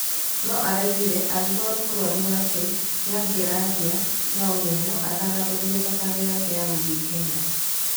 No araigire, agĩkorwo ni mũrwaru wake nĩangĩarĩ na ũmenyo atanambĩrĩria thabarĩ yake ya gũthĩ Kenya.